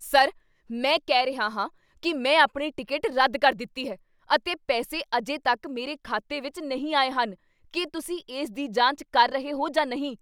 Sir! ਮੈਂ ਕਹਿ ਰਿਹਾ ਹਾਂ ਕੀ ਮੈਂ ਆਪਣੀ ਟਿਕਟ ਰੱਦ ਕਰ ਦਿੱਤੀ ਹੈ ਅਤੇ ਪੈਸੇ ਅਜੇ ਤੱਕ ਮੇਰੇ ਖਾਤੇ ਵਿੱਚ ਨਹੀਂ ਆਏ ਹਨ। ਕੀ ਤੁਸੀਂ ਇਸ ਦੀ ਜਾਂਚ ਕਰ ਰਹੇ ਹੋ ਜਾਂ ਨਹੀਂ?